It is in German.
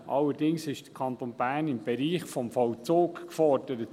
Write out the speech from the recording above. Allerdings ist der Kanton Bern im Bereich des Vollzugs gefordert.